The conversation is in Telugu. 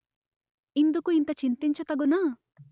ఇందుకు ఇంత చింతించ తగునా